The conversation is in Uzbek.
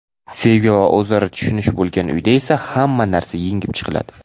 Sevgi va o‘zaro tushunish bo‘lgan uyda esa – hamma narsa yengib chiqiladi.